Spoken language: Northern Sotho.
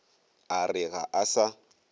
a re ga a sa